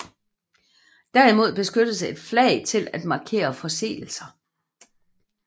Derimod benyttes et flag til at markere forseelser